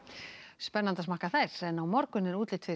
á morgun er útlit fyrir